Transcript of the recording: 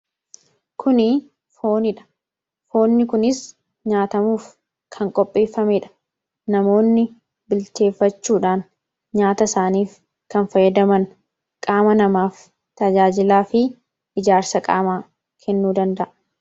kuni fooniidha foonni kunis nyaatamuuf kan qopheeffameedha namoonni bilteeffachuudhaan nyaata isaaniif kan fayyadaman qaama namaaf tajaajilaa fi ijaarsa qaamaa kennuu danda'a